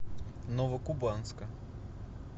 новокубанска